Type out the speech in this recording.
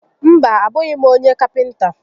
Mba, a bụghị m onye kapịnta